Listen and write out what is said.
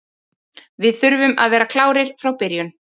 Við þurfum að vera klárir frá byrjun.